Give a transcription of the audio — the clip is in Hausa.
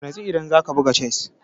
Ka natsu idan za ka buga chess!